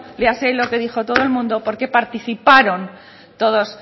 léase todo lo que dijo todo el mundo porque participaron todos